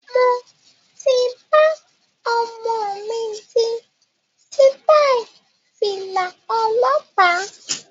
Mo ti bá omo mi di sitai Fìlà ọlọ́pa